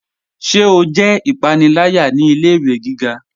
Ṣé o jẹ ipanilaya ni ilẹ̀-iwe gíga?